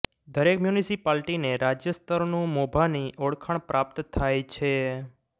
દરેક મ્યુનિસિપાલિટીને રાજ્ય સ્તરનું મોભાની ઓળખાણ પ્રાપ્ત થાય છે